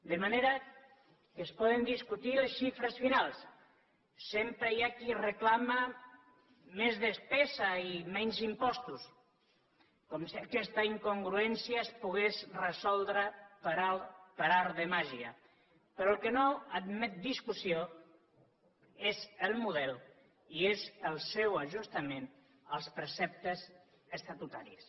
de manera que es poden discutir les xifres finals sempre hi ha qui reclama més despesa i menys impostos com si aquesta incongruència es pogués resoldre per art de màgia però el que no admet discussió és el model i és el seu ajustament als preceptes estatutaris